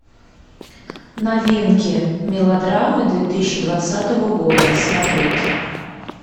новинки мелодрамы две тысячи двадцатого года смотреть